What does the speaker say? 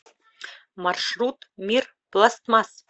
маршрут мир пластмасс